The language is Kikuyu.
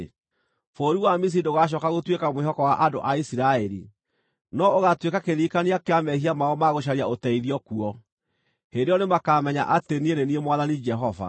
Bũrũri wa Misiri ndũgacooka gũtuĩka mwĩhoko wa andũ a Isiraeli, no ũgaatũĩka kĩririkania kĩa mehia mao ma gũcaria ũteithio kuo. Hĩndĩ ĩyo nĩmakamenya atĩ niĩ nĩ niĩ Mwathani Jehova.’ ”